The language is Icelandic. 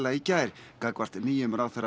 í gær gagnvart nýjum ráðherra